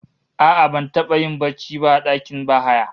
A'a, ban taba yin barci ba a dakin bahaya